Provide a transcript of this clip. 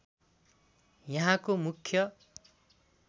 यहाँको मुख्य